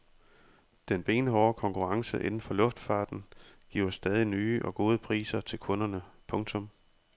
Den benhårde konkurrence inden for luftfarten giver stadig nye og gode priser til kunderne. punktum